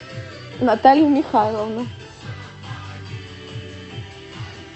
наталью михайловну